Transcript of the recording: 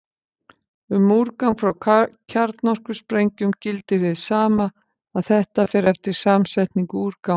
Um úrgang frá kjarnorkusprengjum gildir hið sama, að þetta fer eftir samsetningu úrgangsins.